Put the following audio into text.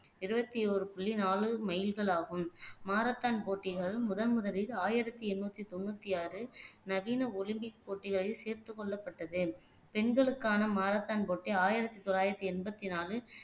இருபத்தி ஒரு புள்ளி நாலு மைல்களாகும் மாரத்தான் போட்டிகள் முதன் முதலில் ஆயிரத்தி எண்ணூத்தி தொண்ணூத்தி ஆறு நவீன ஒலிம்பிக் போட்டிகளில் சேர்த்துக்கொள்ளப்பட்டது பெண்களுக்கான மாரத்தான் போட்டி ஆயிரத்தி தொள்ளாயிரத்தி எண்பத்தி நாலு